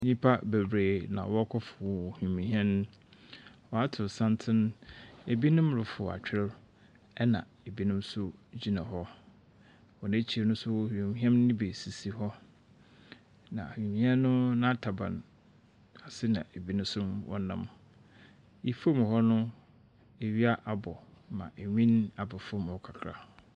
Nnipa bebree na wɔrekɔforo wimuhɛn. Wɔato santen. Binom reforo atwer, ɛnna binom nso gyina hɔ. Wɔn ekyir no nso, wimuhɛn no bi sisi hɔ, na wimuhɛn no n'ataban ase na binom nso wɔnam. Ifam hɔ no, iwia abɔ ma enwin aba fam hɔ kakra.